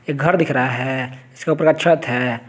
घर दिख रहा है इसके ऊपर का छत है।